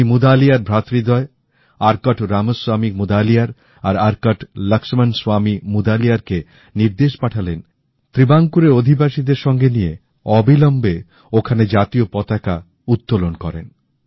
উনি মুদালিয়ার ভ্রাতৃদ্বয় আর্কট রামস্বামী মুদালিয়ার আর আর্কট লক্ষ্মনস্বামী মুদালিয়ার কে নির্দেশ পাঠালেন যে ট্রেভঙ্করের অধিবাসীদের সঙ্গে নিয়ে গিয়ে অবিলম্বে ওখানে জাতীয় পতাকা উত্তোলন করেন